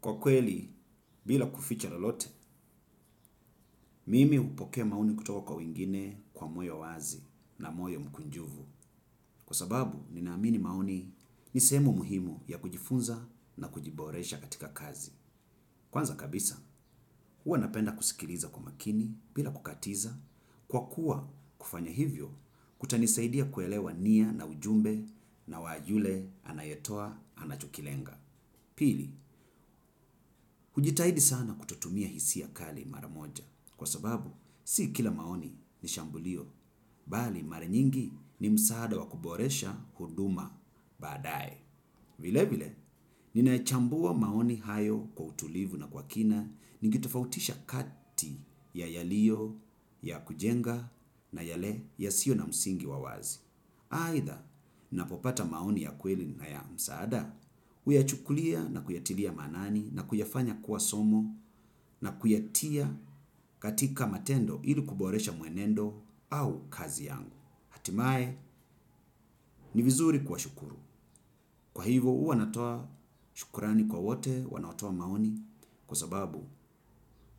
Kwa kweli, bila kuficha lolote, mimi hupokea maoni kutoa kwa wengine kwa moyo wazi na moyo mkunjuvu. Kwa sababu, ninaamini maoni ni sehemu muhimu ya kujifunza na kujiboresha katika kazi. Kwanza kabisa, huwa napenda kusikiliza kwa makini bila kukatiza. Kwa kuwa kufanya hivyo, kutanisaidia kuelewa nia na ujumbe na wa yule anayetoa anachokilenga. Pili, hujitahidi sana kutotumia hisia kali mara moja kwa sababu si kila maoni ni shambulio, bali mara nyingi ni msaada wa kuboresha huduma baadae. Vile vile, ninayachambua maoni hayo kwa utulivu na kwa kina ningetofautisha kati ya yaliyoyakujenga na yale yasiyo na msingi wa wazi. Aidha, napopata maoni ya kweli na ya msaada, huyachukulia na kuyatilia maanani na kuyafanya kuwa somo na kuyatia katika matendo ili kuboresha mwenendo au kazi yangu. Hatimae, ni vizuri kuwashukuru. Kwa hivyo, huwa natoa shukurani kwa wote wanatoa maoni kwa sababu,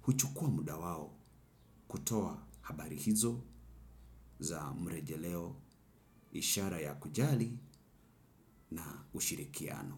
huchukua muda wao kutoa habari hizo za mrejeleo, ishara ya kujali na ushirikiano.